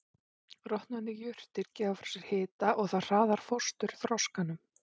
Rotnandi jurtir gefa frá sér hita og það hraðar fósturþroskanum.